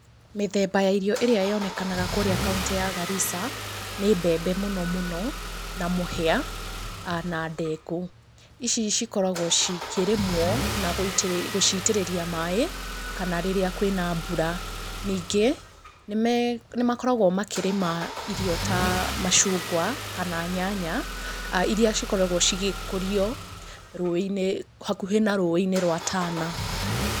Mĩthemba ya irio ĩrĩa yonekanaga kũrĩa kauntĩ ya Garissa, nĩ mbembe mũno mũno, na mũhĩa, na ndengũ. Ici cikoragwo cikĩrĩmwo na gũcitĩrĩria maaĩ kana rĩrĩa kwĩna mbura. Ningĩ, nĩ makoragwo makĩrĩma irio ta macungwa, kana nyanya iria cikoragwo cigĩkũrio rũũĩ-inĩ, hakuhĩ na rũũĩ-inĩ rwa Tana.